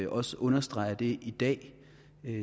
også understreger det i dag